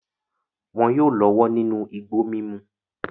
Wọn yóò lọ́wọ́ nínú igbó mímu.